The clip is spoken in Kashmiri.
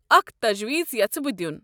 اکھ تجویز یژھہٕ بہٕ دیُن۔